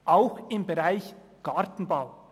Auch im Bereich Gartenbau.